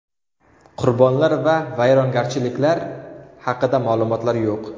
Qurbonlar va vayronagarchiliklar haqida ma’lumotlar yo‘q.